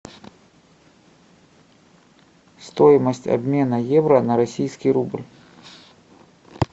стоимость обмена евро на российский рубль